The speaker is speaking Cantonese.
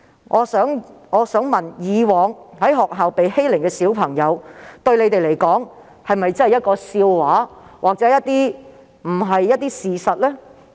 我想問的是，一些孩子以往在學校遭受的欺凌對他們來說是否一個笑話或並無事實根據？